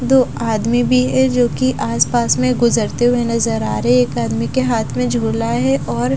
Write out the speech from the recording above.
दो आदमी भी है जोकि आस पास में गुजरते हुए नजर आ रहे एक आदमी के हाथ में झूला है और--